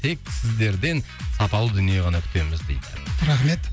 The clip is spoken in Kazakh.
тек сіздерден сапалы дүние ғана күтеміз дейді рахмет